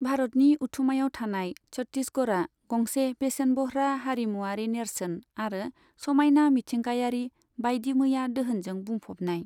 भारतनि उथुमायाव थानाय छत्ति सगढ़आ गंसे बेसेनबह्रा हारिमुआरि नेरसोन आरो समायना मिथिंगायारि बायदिमैया दोहोनजों बुंफबनाय।